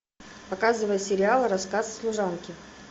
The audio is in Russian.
показывай сериал рассказ служанки